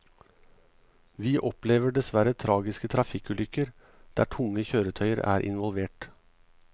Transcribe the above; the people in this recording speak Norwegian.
Vi opplever dessverre tragiske trafikkulykker der tunge kjøretøyer er involvert.